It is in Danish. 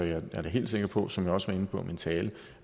jeg er da helt sikker på som jeg også var inde på i min tale